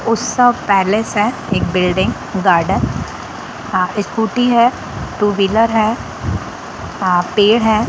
उत्सव पैलेस है एक बिल्डिंग गार्डन आ स्कूटी है टू व्हीलर है आ पेड़ है।